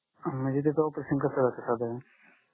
अं म्णजे त्याच operation कस असत साधारण